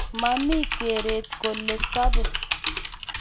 Mamie keret kole sobe